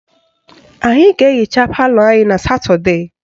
Anyị ga-ehicha palọ anyị na Satọdee